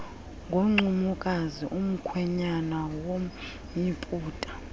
ngoncumokazi umkhwenyana womyiputa